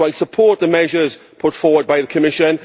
I support the measures put forward by the Commission.